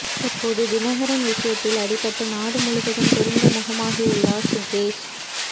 தற்போது தினகரன் விஷயத்தில் அடிபட்டு நாடு முழுவதும் தெரிந்த முகமாகியுள்ளார் சுகேஷ்